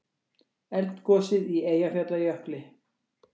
Eldgosið í Eyjafjallajökli.